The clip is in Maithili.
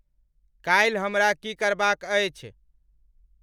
काल्हिक हमरा की करबाक़ अछि